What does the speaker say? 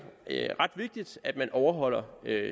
ret vigtigt at man overholder